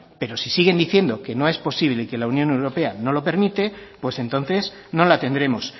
pero si siguen diciendo que no es posible y que la unión europea no lo permite pues entonces no la tendremos